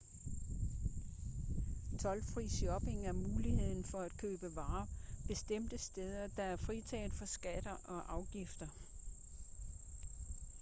toldfri shopping er muligheden for at købe varer bestemte steder der er fritaget for skatter og afgifter